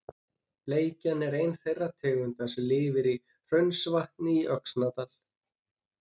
Bleikja er ein þeirra tegunda sem lifir í Hraunsvatni í Öxnadal.